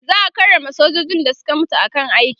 za'a karrama sojojin da Suka mutu a kan aiki